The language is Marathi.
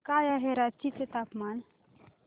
काय आहे रांची चे तापमान